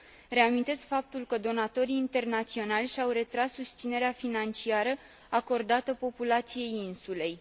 Reamintesc faptul că donatorii internaționali și au retras susținerea financiară acordată populației insulei.